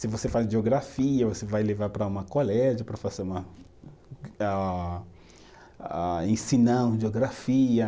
Se você faz geografia, você vai levar para uma colégio para fazer uma, ah ah, ensinar geografia.